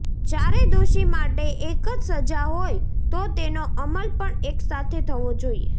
ચારે દોષી માટે એક જ સજા હોય તો તેનો અમલ પણ એકસાથે થવો જોઇએ